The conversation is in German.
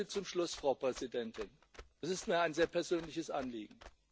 Eine Bitte zum Schluss, Frau Präsidentin, das ist mir ein sehr persönliches Anliegen.